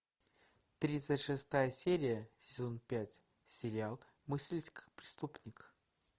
тридцать шестая серия сезон пять сериал мыслить как преступник